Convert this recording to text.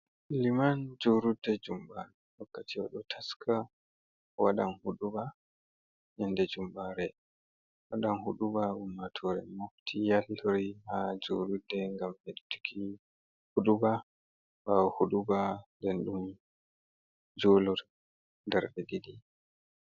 Liman juruɗɗe jumba. Wakkati oɗo taska waɗan huɗuba yande jumbare. waɗan huduba ummatoren mofti yalɗori ha jurudde ngam heɗɗuiki huɗuba. baho huɗuba ɗen julor ɗarɗe ɗiɗi.